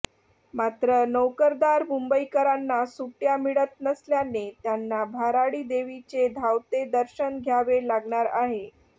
मात्र नोकरदार मुंबईकरांना सुट्टय़ा मिळत नसल्याने त्यांना भराडीदेवीचे धावते दर्शन घ्यावे लागणार आहे